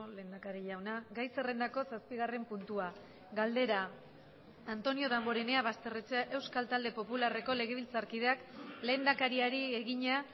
lehendakari jauna gai zerrendako zazpigarren puntua galdera antonio damborenea basterrechea euskal talde popularreko legebiltzarkideak lehendakariari egina